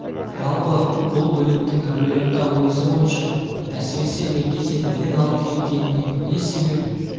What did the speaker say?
жалпы бұл бүліктің әулие-ата уезі бойынша әсіресе меркеде белең алып кеткеніне не себеп